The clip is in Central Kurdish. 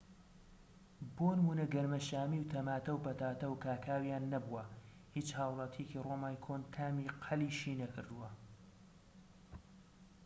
بۆ نمونە گەنمەشامی و تەماتە و پەتاتە و کاکاویان نەبووە هیچ هاوڵاتیەکی ڕۆمای کۆن تامی قەلیشی نەکردووە